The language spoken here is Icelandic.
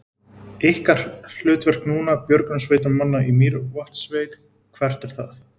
Ykkar hlutverk núna, björgunarsveitarmanna í Mývatnssveit, hvert er það?